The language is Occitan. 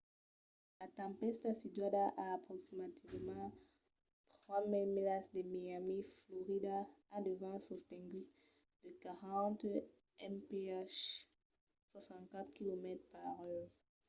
la tempèsta situada a aproximativament 3 000 milas de miami florida a de vents sostenguts de 40 mph 64 km/h